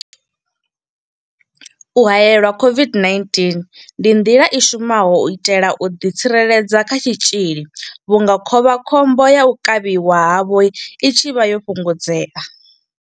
U haelelwa COVID-19 ndi nḓila i shumaho u itela u ḓitsireledza kha tshitzhili vhunga khovhakhombo ya u kavhiwa havho i tshi vha yo fhungudzea.